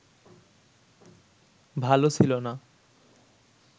ভাল ছিল না